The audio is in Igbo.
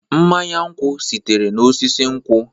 Mmanye nkwụ sitere n'osisi nkwụ.